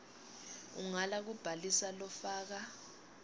ungala kubhalisa lofaka